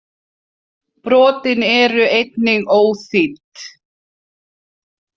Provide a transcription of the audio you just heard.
Brotin eru einnig óþýdd.